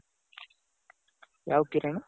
ಯಾವ್ ಕಿರಣ್?